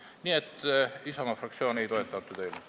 Nii et Isamaa fraktsioon ei toeta seda eelnõu.